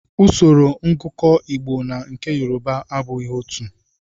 Usoro ngụkọ Igbo na nke Yoruba abụghị otú.